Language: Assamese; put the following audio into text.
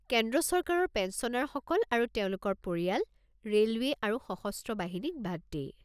কেন্দ্ৰ চৰকাৰৰ পেঞ্চনাৰসকল আৰু তেওঁলোকৰ পৰিয়াল ৰে'লৱে আৰু সশস্ত্ৰ বাহিনীক বাদ দি।